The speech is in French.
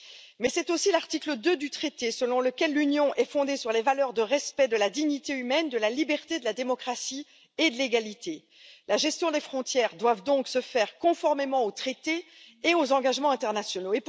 Mais c'est aussi l'article 2 du traité sur l'Union européenne, selon lequel l'Union est fondée sur les valeurs de respect de la dignité humaine, de liberté, de démocratie et d'égalité. La gestion des frontières doit donc se faire conformément au traité et aux engagements internationaux.